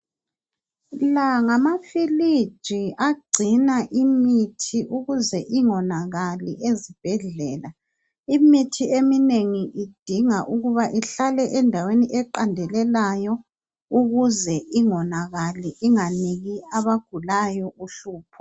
La ngamafiliji agcina imithi ukuze ingonakali ezibhedlela. Imithi eminengi idinga ukuba ihlale endaweni eqandelelayo ukuze ingonakali inganiki abagulayo uhlupho.